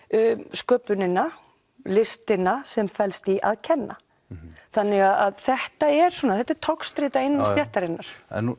sköpunina listina sem felst í því að kenna þannig að þetta er þetta er togstreita innan stéttarinnar